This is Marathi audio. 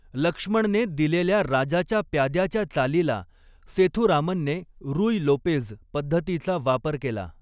लक्ष्मणने दिलेल्या राजाच्या प्याद्याच्या चालीला सेथुरामनने रुय लोपेझ पद्धतीचा वापर केला.